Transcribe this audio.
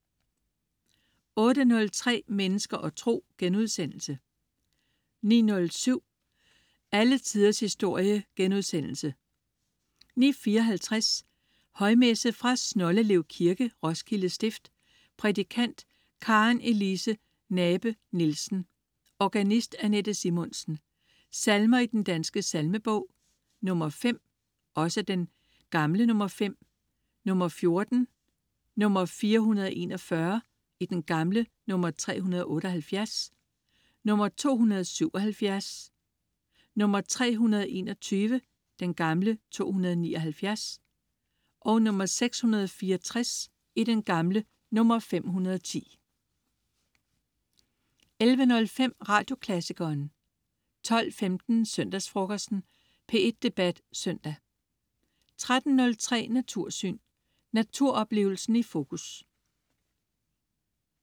08.03 Mennesker og tro* 09.07 Alle Tiders historie* 09.54 Højmesse. Fra Snoldelev Kirke, Roskilde Stift. Prædikant: Karen Elise Nabe-Nielsen. Organist: Anette Simonsen. Salmer i Den Danske Salmebog: 5 (5). 14. 441 (378). 277. 321 (279). 664 (510) 11.05 Radioklassikeren 12.15 Søndagsfrokosten. P1 Debat Søndag 13.03 Natursyn. Naturoplevelsen i fokus